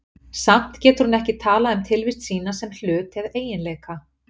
Samt getur hún ekki talað um tilvist sína sem hlut eða eiginleika.